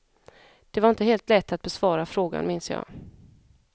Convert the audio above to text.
Det var inte helt lätt att besvara frågan minns jag.